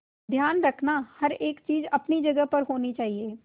ध्यान रखना हर एक चीज अपनी जगह पर होनी चाहिए